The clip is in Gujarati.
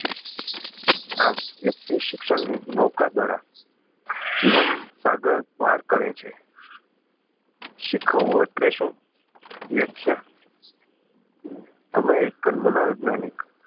આમ વ્યકિત શિક્ષણ ની નૌકા દ્વારા જીવન સાગર પાર કરે છે શીખવવું એટલે શું વ્યાખ્યા અમેરિકન મનો વૈજ્ઞાનિક